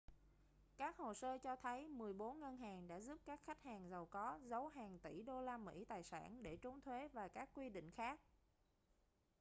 các hồ sơ cho thấy mười bốn ngân hàng đã giúp các khách hàng giàu có giấu hàng tỷ đô la mỹ tài sản để trốn thuế và các quy định khác